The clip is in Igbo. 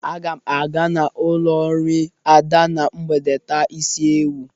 Aga m aga n'ụlọ nri Ada na mgbede taa isi ewu.